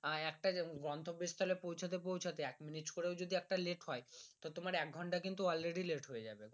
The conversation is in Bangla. আহ একটা গন্তব্স্থলে পৌঁছাতে পৌঁছাতে এক মিনিট করেও যদি একটা late হয় তো তোমার এক ঘন্টা কিন্তু already late হয়ে যাবে